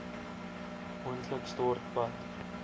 moontlik stort bad